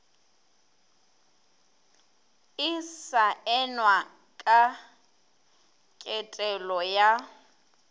e saenwa ka ketelo ya